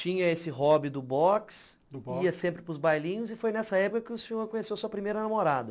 Tinha esse hobby do boxe, do boxe, ia sempre para os bailinhos e foi nessa época que o senhor conheceu sua primeira namorada.